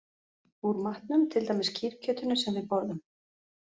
Úr matnum, til dæmis kýrkjötinu sem við borðum